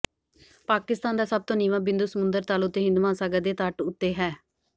ਪਾਕਿਸਤਾਨ ਦਾ ਸਭ ਤੋਂ ਨੀਵਾਂ ਬਿੰਦੂ ਸਮੁੰਦਰ ਤਲ ਉੱਤੇ ਹਿੰਦ ਮਹਾਂਸਾਗਰ ਦੇ ਤੱਟ ਹੈ